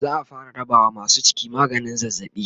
za'a fara rabawa masu ciki maganin zazzabi